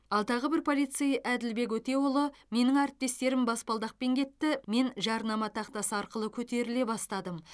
ал тағы бір полицей әділбек өтеұлы менің әріптестерім баспалдақпен кетті мен жарнама тақтасы арқылы көтеріле бастадым